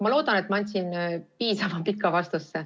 Ma loodan, et andsin piisavalt pika vastuse.